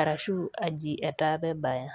arashu aji etaa pee ebaya.